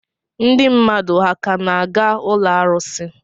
Ndị mmadụ ha ka na-aga ụlọ arụsị?